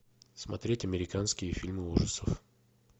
смотреть американские фильмы ужасов